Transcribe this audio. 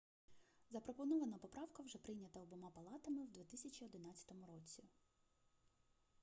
запропонована поправка вже прийнята обома палатами в 2011 році